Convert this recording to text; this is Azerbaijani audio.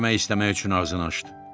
Kömək istəmək üçün ağzını açdı.